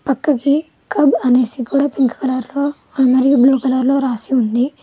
పక్కకి కబ్ అనేసి కూడా పింక్ కలర్ లో మరియు బ్లు కలర్ లో రాసి ఉంది.